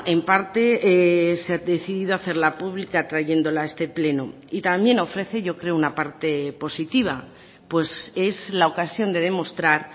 en parte se ha decidido hacerla pública trayéndola a este pleno y también ofrece yo creo una parte positiva pues es la ocasión de demostrar